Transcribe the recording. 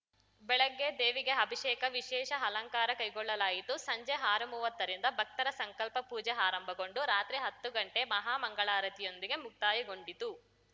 ಬೆಳಗ್ಗೆ ದೇವಿಗೆ ಅಭಿಷೇಕ ವಿಶೇಷ ಅಲಂಕಾರ ಕೈಗೊಳ್ಳಲಾಯಿತು ಸಂಜೆ ಆರುಮುವತ್ತ ರಿಂದ ಭಕ್ತರ ಸಂಕಲ್ಪ ಪೂಜೆ ಆರಂಭಗೊಂಡು ರಾತ್ರಿ ಹತ್ತು ಗಂಟೆಗೆ ಮಹಾ ಮಂಗಳಾರತಿಯೊಂದಿಗೆ ಮುಕ್ತಾಯ ಗೊಂಡಿತು